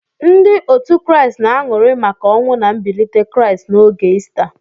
Ndị otu Kraịst na-aṅụrị maka ọnwụ na mbilite Kraịst n'oge Ista.